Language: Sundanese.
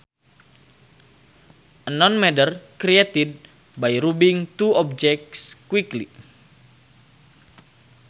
A non matter created by rubbing two objects quickly